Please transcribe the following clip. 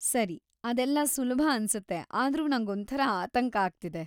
ಸರಿ, ಅದೆಲ್ಲ ಸುಲಭ ಅನ್ಸತ್ತೆ ಆದ್ರೂ ನಂಗೊಂಥರ ಆತಂಕ ಆಗ್ತಿದೆ.